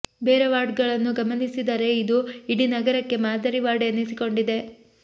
ಬೇರೆ ವಾರ್ಡ್ಗಳನ್ನು ಗಮನಿಸಿದರೆ ಇದು ಇಡೀ ನಗರಕ್ಕೆ ಮಾದರಿ ವಾರ್ಡ್ ಎನಿಸಿಕೊಂಡಿದೆ